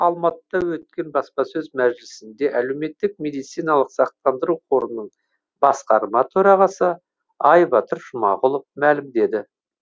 алматыда өткен баспасөз мәжілісінде әлеуметтік медициналық сақтандыру қорының басқарма төрағасы айбатыр жұмағұлов мәлімдеді